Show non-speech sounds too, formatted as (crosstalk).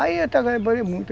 Aí (unintelligible)